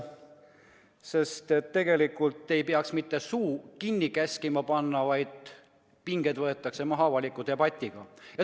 Aga tegelikult ei peaks käskima suud kinni panna, vaid pinged tuleks maha võtta avaliku debatiga.